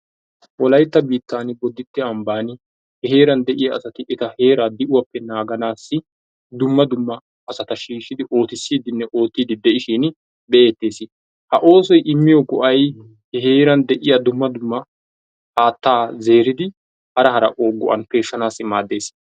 Wolaytta biittan bodditte ambbaan he heerran de'iyaa asati eta heeraa di"uwaappe naaganaasi dumma dumma asata shiishshidi ootisiidinne oottidi de'ishiin be'eettees. Ha oosoy immyiyoo go"ay he heeraa dumma dumma haattaa zeeridi hara hara go"an peeshanaasi maaddees.